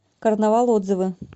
карнавал отзывы